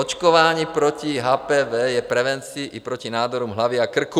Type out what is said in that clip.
Očkování proti HPV je prevencí i proti nádorům hlavy a krku.